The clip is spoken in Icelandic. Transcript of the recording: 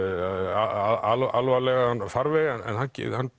alvarlegan farveg en hann